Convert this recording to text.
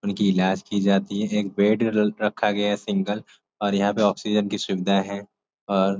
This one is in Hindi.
उनकी इलाज की जाती है। एक बेड अलग रखा गया है सिंगल और यहाँ पे ऑक्सीजन की सुविधाएँ है और --